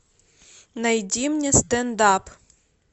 найди мне стендап